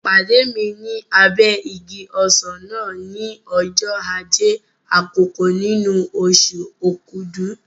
Pàdé mi ní abẹ́ igi ọsàn náà ní ọjọ́ Ajé àkọ́kọ́ nínú oṣù Okúdù.